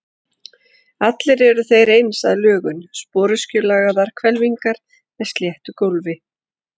Allir eru þeir eins að lögun, sporöskjulagaðar hvelfingar með sléttu gólfi.